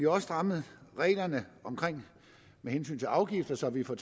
også strammet reglerne med hensyn til afgifter så vi får